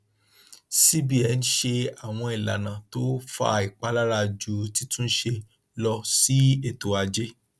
cbn ṣe àwọn ìlànà tó fa ìpalára ju títúnṣe lọ sí ètò ajé